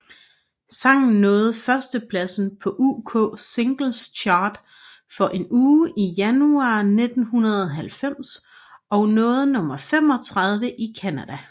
Sangen nåede førstepladsen på UK Singles Chart for en uge i januar 1990 og nåede nummer 35 i Canada